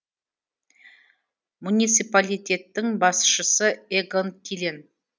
муниципалитеттің басшысы эгон тилен